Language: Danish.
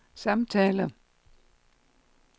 samtaler